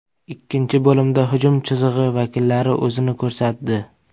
Ikkinchi bo‘limda hujum chizig‘i vakillari o‘zini ko‘rsatdi.